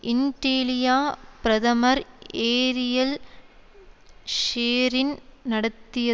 இன்டிலிய பிரதமர் ஏரியல் ஷேரின் நடத்தையால்